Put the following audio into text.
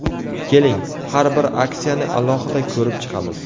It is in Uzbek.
Keling, har bir aksiyani alohida ko‘rib chiqamiz.